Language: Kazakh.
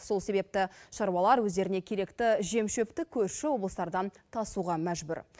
сол себепті шаруалар өздеріне керекті жем шөпті көрші облыстардан тасуға мәжбүр